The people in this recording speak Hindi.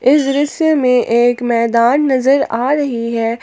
इस दृश्य में एक मैदान नजर आ रही है।